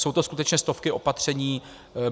Jsou to skutečně stovky opatření.